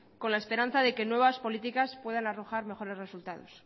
con la esperanza de que nuevas políticas puedan arrojar mejores resultados